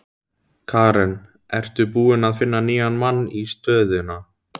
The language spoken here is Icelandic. Karen: Ertu búinn að finna nýjan mann í stöðuna?